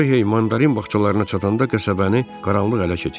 Röhey mandarin bağçalarına çatanda qəsəbəni qaranlıq ələ keçirmişdi.